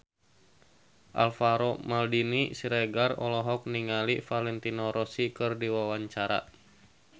Alvaro Maldini Siregar olohok ningali Valentino Rossi keur diwawancara